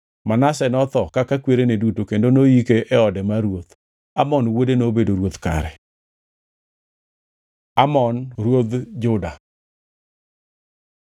Manase notho kaka kwerene kendo noyike e ode mar ruoth. Amon wuode nobedo ruoth kare. Amon ruodh Juda